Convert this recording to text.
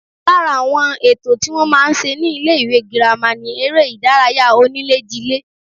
Lára àwọn ètò tí wọ́n máa ń ṣe ní ilé-ìwé girama ni eré-ìdárayá oníléjilé